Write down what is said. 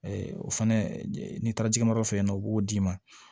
o fɛnɛ n'i taara jigamadɔ fɛ yen nɔ u b'o d'i ma